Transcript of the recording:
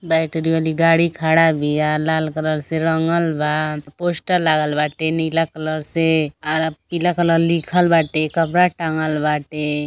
Battery वाली गाड़ी खड़ा बीया। लाल रंग से रंगल बा। पोस्टर लागल बा बाटे नीला कलर से आर पीला कलर से लिखल बाटे। कपड़ा टंगल बाटे।